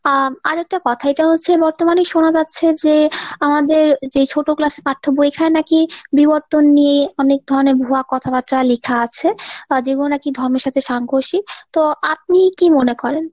আরেকটা কথা এটা হচ্ছে বর্তমানে শোনা যাচ্ছে যে আমাদের যে ছোট class এর পাঠ্য বইখানা নাকি বিবর্তন নিয়ে অনেক ধরণের ভুয়া কথাবার্তা লেখা আছে। আ যেগুলো নাকি ধম্মের সাথে সাংকোশি ? তো আপনি কী মনে করেন ?